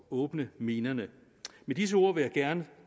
åbne minerne med disse ord til vil jeg gerne